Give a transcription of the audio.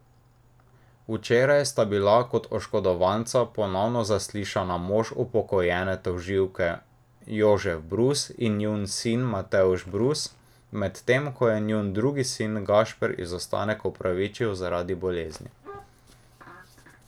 Včeraj sta bila kot oškodovanca ponovno zaslišana mož upokojene tožilke Jožef Brus in njun sin Matevž Brus, medtem ko je njun drugi sin Gašper izostanek opravičil zaradi bolezni.